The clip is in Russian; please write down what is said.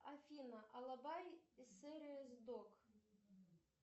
афина алабай сервис док